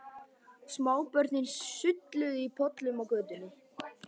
Smábörnin sulluðu í pollum á götunni.